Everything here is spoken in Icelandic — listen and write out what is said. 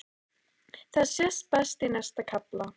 Það sést best í næsta kafla.